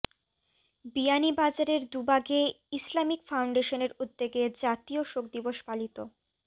বিয়ানীবাজারের দুবাগে ইসলামিক ফাউন্ডেশনের উদ্যোগে জাতীয় শোক দিবস পালিত